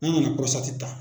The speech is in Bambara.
An nana ta